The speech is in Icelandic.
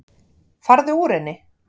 Farðu úr henni.